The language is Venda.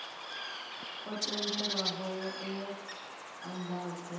o tendelwaho e a andadzwa